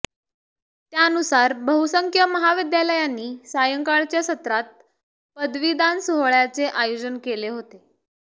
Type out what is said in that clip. त्यानुसार बहुसंख्य महाविद्यालयांनी सायंकाळच्या सत्रात पदवीदान सोहळय़ाचे आयोजन केले होते